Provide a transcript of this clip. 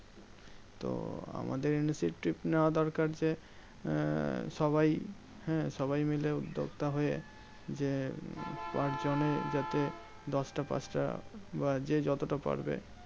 তো আমাদের initiative নেওয়া দরকার যে, আহ সবাই হ্যাঁ সবাই মিলে উদ্যোক্তা হয়ে যে, পাঁচজনে যাতে দশটা পাঁচটা বা যে যতটা পারবে